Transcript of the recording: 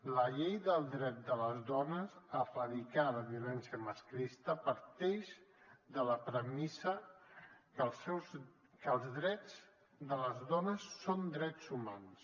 la llei del dret de les dones a erradicar la violència masclista parteix de la premissa que els drets de les dones són drets humans